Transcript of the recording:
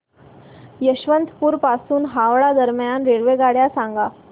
यशवंतपुर पासून हावडा दरम्यान रेल्वेगाड्या सांगा